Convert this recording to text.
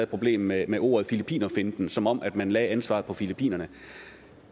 problem med med ordet filippinerfinten altså som om man lagde ansvaret på filippinere